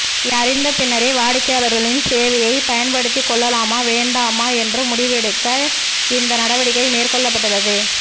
இதனை அறிந்த பின்னரே வாடிக்கையாளர்களின் சேவையை பயன்படுத்தி கொள்ளலாமா வேண்டாமா என்று முடிவெடுக்க இந்த நடவடிக்கை மேற்கொள்ளப்பட்டுள்ளது